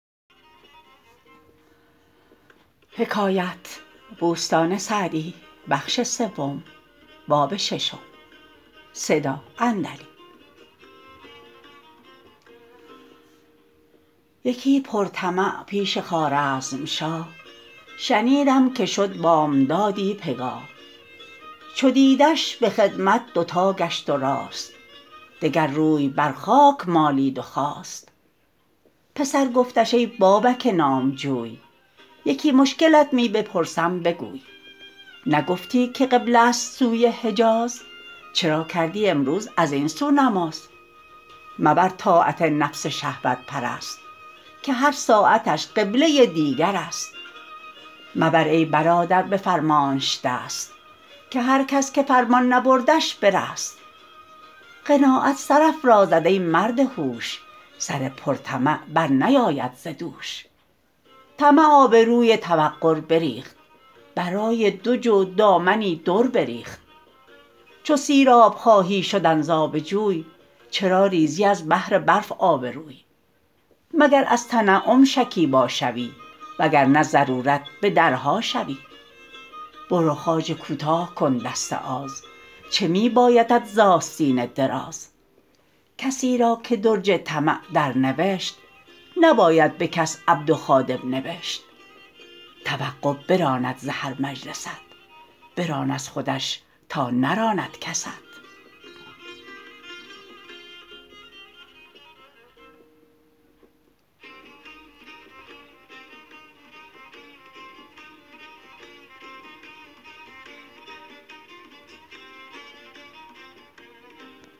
یکی پر طمع پیش خوارزمشاه شنیدم که شد بامدادی پگاه چو دیدش به خدمت دوتا گشت و راست دگر روی بر خاک مالید و خاست پسر گفتش ای بابک نامجوی یکی مشکلت می بپرسم بگوی نگفتی که قبله ست سوی حجاز چرا کردی امروز از این سو نماز مبر طاعت نفس شهوت پرست که هر ساعتش قبله دیگر است مبر ای برادر به فرمانش دست که هر کس که فرمان نبردش برست قناعت سرافرازد ای مرد هوش سر پر طمع بر نیاید ز دوش طمع آبروی توقر بریخت برای دو جو دامنی در بریخت چو سیراب خواهی شدن ز آب جوی چرا ریزی از بهر برف آبروی مگر از تنعم شکیبا شوی وگرنه ضرورت به درها شوی برو خواجه کوتاه کن دست آز چه می بایدت ز آستین دراز کسی را که درج طمع در نوشت نباید به کس عبد و خادم نبشت توقع براند ز هر مجلست بران از خودش تا نراند کست